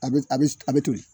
A bɛ a bɛ toli.